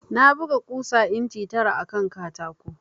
Na buga ƙusa inci tara akan katako